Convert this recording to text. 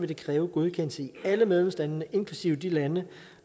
det kræve godkendelse i alle medlemslandene inklusive i de lande